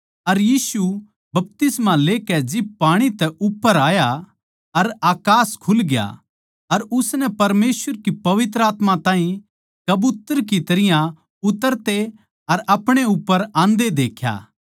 अर यीशु बपतिस्मा लेकै जिब पाणी तै उप्पर आया अर देख्या उसकै खात्तर अकास खुलग्या अर उसनै परमेसवर की पवित्र आत्मा ताहीं कबूतर की तरियां उतरते अर अपणे उप्पर आंदे देख्या